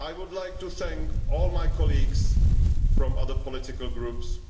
I would like to thank all my colleagues from other political groups